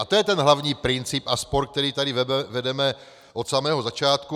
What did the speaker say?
A to je ten hlavní princip a spor, který tady vedeme od samého začátku.